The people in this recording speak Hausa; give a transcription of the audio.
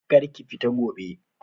Kar ki fita gobe!